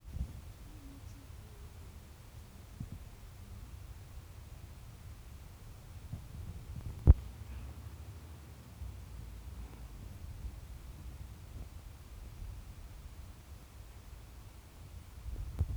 Ibei tiraktait kobijek